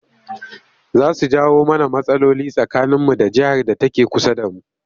Za su jawo mana rmatsaloli tsakaninmu da jihar da take kusa da mu